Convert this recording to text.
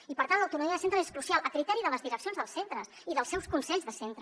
i per tant l’autonomia de centres és crucial a criteri de les direccions dels centres i dels seus consells de centre